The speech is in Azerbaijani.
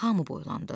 Hamı boylandı.